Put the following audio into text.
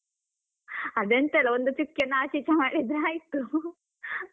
ಅದೆಂತ ಇಲ್ಲ ಒಂದು ಚುಕ್ಕಿಯನ್ನು ಆಚೆ ಈಚೆ ಮಾಡಿದ್ರೆ ಆಯ್ತು .